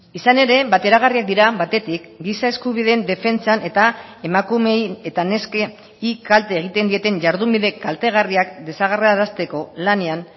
izan ere bateragarriak dira batetik giza eskubideen defentsan eta emakumeei eta neskei kalte egiten dieten jardunbide kaltegarriak desagerrarazteko lanean